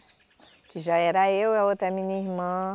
Que já era eu e a outra minha irmã.